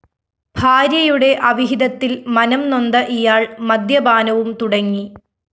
ഭാര്യയുടെ അവിഹിതത്തില്‍ മനംനൊന്ത ഇയാള്‍ മദ്യപാനവും തുടങ്ങി